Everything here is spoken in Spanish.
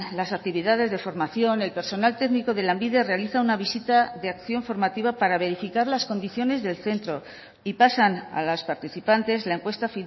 las actividades de formación el personal técnico de lanbide realiza una visita de acción formativa para verificar las condiciones del centro y pasan a las participantes la encuesta